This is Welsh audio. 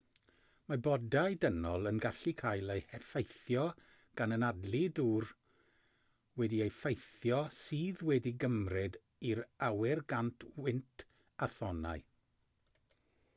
mae bodau dynol yn gallu cael eu heffeithio gan anadlu dŵr wedi'i effeithio sydd wedi'i gymryd i'r awyr gan wynt a thonnau